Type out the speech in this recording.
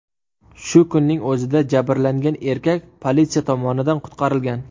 Shu kunning o‘zida jabrlangan erkak politsiya tomonidan qutqarilgan.